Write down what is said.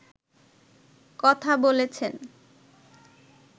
কথা বলছেন